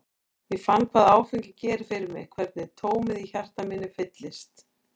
Ég fann hvað áfengi gerir fyrir mig, hvernig tómið í hjarta mínu fyllist.